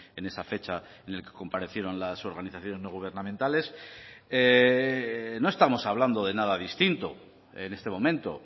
en esa fecha en el que comparecieron las organizaciones no gubernamentales no estamos hablando de nada distinto en este momento